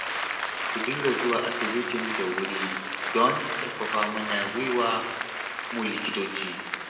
Ku dinga zuwa asibitin da wuri don ƙarfafa mana gwiwa mu likitoci